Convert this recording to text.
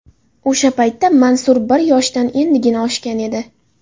O‘sha paytda Mansur bir yoshdan endigina oshgan edi.